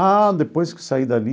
Ah, depois que saí dali,